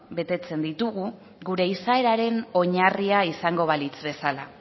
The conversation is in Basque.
betetzen ditugu gure izaeraren oinarria izango balitz bezala